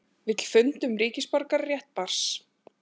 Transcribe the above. Vill fund um ríkisborgararétt barns